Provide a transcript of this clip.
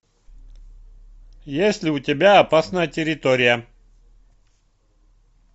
есть ли у тебя опасная территория